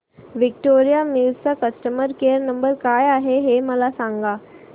Victoria mills चा customer care number काय आहे हे मला सांगा